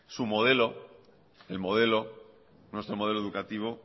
su modelo el modelo nuestro modelo educativo